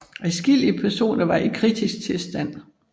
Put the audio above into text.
Adskillige personer var i kritisk tilstand